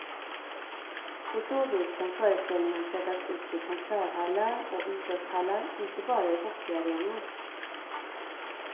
På så vis kan föreställningen sättas upp i konserthallar och idrottshallar, inte bara i hockeyarenor.